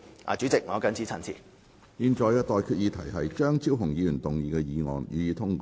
我現在向各位提出的待決議題是：張超雄議員動議的議案，予以通過。